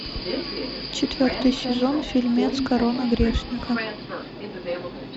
четвертый сезон фильмец корона грешника